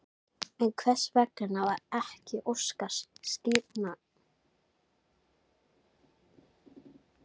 En hvers vegna var ekki óskað skýringa fyrr?